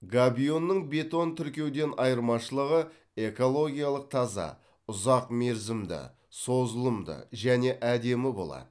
габионның бетон тіркеуден айырмашылығы экологиялық таза ұзақ мерзімді созылымды және әдемі болады